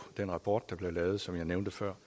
den rapport der blev lavet og som jeg nævnte før